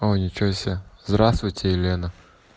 ничего себе здравствуйте елена